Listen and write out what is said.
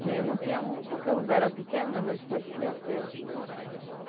Tinha, não tinha muito porque o lugar era pequeno, mas depois cresceu.